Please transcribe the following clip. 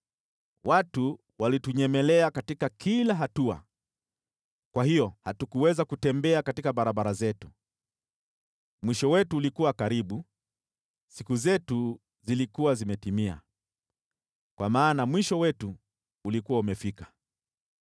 Watu walituvizia katika kila hatua hata hatukuweza kutembea katika barabara zetu. Mwisho wetu ulikuwa karibu, siku zetu zilikuwa zimetimia, kwa maana mwisho wetu ulikuwa umefika.